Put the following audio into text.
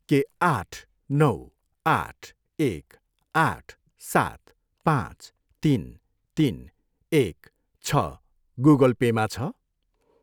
के आठ, नौ, आठ, एक, आठ, सात, पाँच, तिन, तिन, एक छ गुगल पेमा छ?